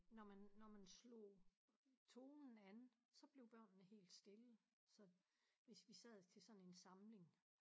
Når man når man slog tonen an så blev børnene helt stille så hvis vi sad til sådan en samling